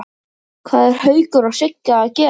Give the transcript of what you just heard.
Hvað eru Haukur og Sigga að gera?